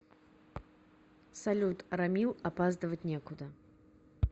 салют рамил опаздывать некуда